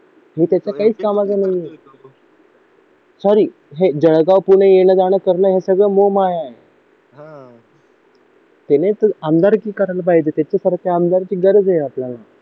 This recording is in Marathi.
मी त्याच्यात काहीच कामाचा नाही आहे सॉरी हे जळगाव पुणे येणं-जाणं करणं सगळं मोह माया त्यानेच आमदार की करायला पाहिजे खरंच आमदारकीची गरज आहे आपल्याला